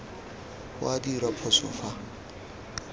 go a dirwa phoso fa